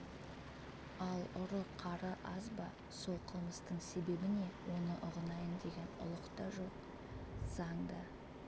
ал ұры-қары аз ба сол қылмыстың себебі не оны ұғынайын деген ұлық та жоқ заң да